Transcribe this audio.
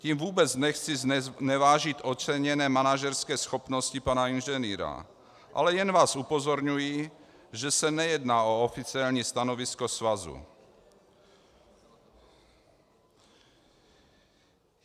Tím vůbec nechci znevážit oceněné manažerské schopnosti pana inženýra, ale jen vás upozorňuji, že se nejedná o oficiální stanovisko svazu.